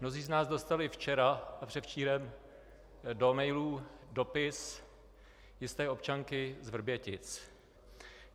Mnozí z nás dostali včera a předevčírem do mailů dopis jisté občanky z Vrbětic.